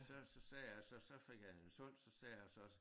Så så sagde jeg så så fik han den solgt så sagde jeg så